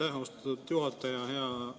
Aitäh, austatud juhataja!